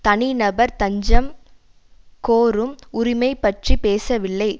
தனி நபர் தஞ்சம் கோரும் உரிமை பற்றி பேசவில்லை